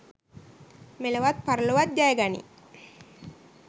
මෙලොවත් පරලොවත් ජය ගනී.